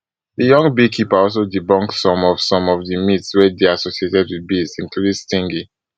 di young beekeeper also debunk some of some of di myths wey dey associated wit bees including stinging